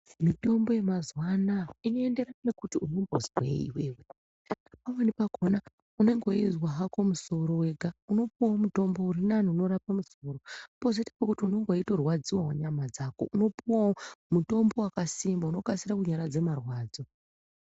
Mitombo yemazuwa anaa inoenderana ngekuti unombizwei iwewe pamweni pakhona unenge weizwa hako musoro wega unopuwawo mitombo urinane unorapa musoro pozoita pekuti unenge weitorwadziwawo nyama dzako unopuwawo mitombo wakasimba unokase kunyaradza marwadzo.